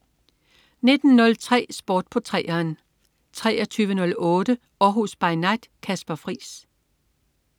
19.03 Sport på 3'eren 23.08 Århus By Night. Kasper Friis